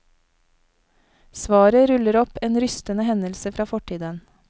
Svaret ruller opp en rystende hendelse fra fortiden.